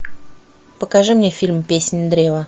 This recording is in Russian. покажи мне фильм песнь древа